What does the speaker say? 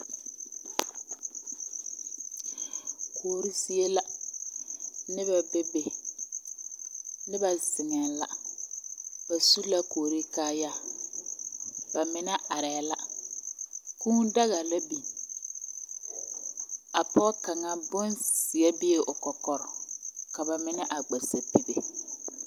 Kuori zie la, noba bebe, noba zeŋԑԑ la, ba su la kuori kaayaa. Ba mine arԑԑ la. Kũũ daga la biŋ. A pͻge kaŋa bonzeԑ bee o kͻkͻre ba mine a gba sapigi.